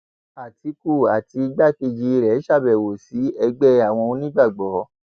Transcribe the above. àtìkù àti igbákejì rẹ ṣàbẹwò sí ẹgbẹ àwọn onígbàgbọ